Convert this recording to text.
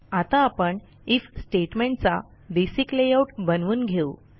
आता आपण IF statement चा बेसिक लेआऊट बनवून घेऊ